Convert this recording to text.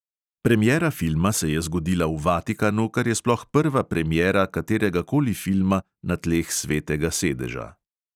Premiera filma se je zgodila v vatikanu, kar je sploh prva premiera kateregakoli filma na tleh svetega sedeža.